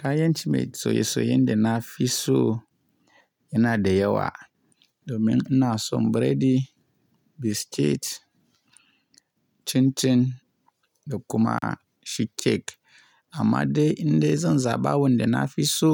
Kayan ci mai soye soyen da nafi so yana da yawa domin ina son biredi, biskit, cin cin da kuma shi kek. Amma dai indai zan zaba wanda nafi so,